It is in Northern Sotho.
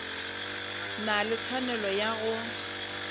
na le tshwanelo ya go